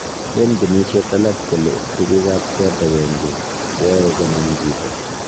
Leen genishet alak kole tuguk ap kot agenge ko ae konam chito